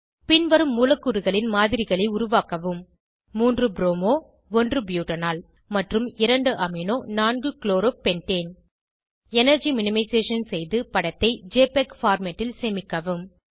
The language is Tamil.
பின்வரும் மூலக்கூறுகளின் மாதிரிகளை உருவாக்கவும்3 ப்ரோமோ 1 ப்யூட்டனால் மற்றும் 2 amino 4 chloro pentane energy minimisation செய்து படத்தை ஜெபிஇஜி பார்மேட் ல் சேமிக்கவும்